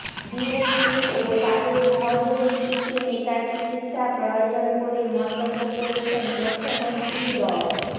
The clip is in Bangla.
বিএনপি ও তাদের সহযোগী কিছু নেতার চিকিৎসা প্রয়োজন বলে মন্তব্য করেছেন তথ্যমন্ত্রী ড